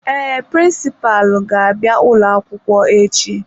Ee, prịnsịpalụ ga-abịa ụlọ akwụkwọ echi.